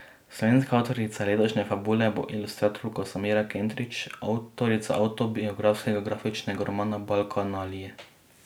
Slovenska avtorica letošnje Fabule bo ilustratorka Samira Kentrić, avtorica avtobiografskega grafičnega romana Balkanalije.